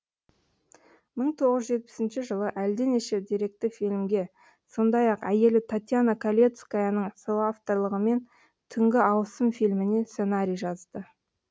мың тоғыз жүз жетпісінші жылы әлденеше деректі фильмге сондай ақ әйелі татьяна калецкаяның соавторлығымен түнгі ауысым фильміне сценарий жазады